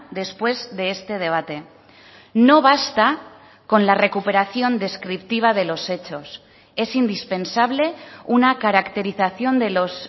después de este debate no basta con la recuperación descriptiva de los hechos es indispensable una caracterización de los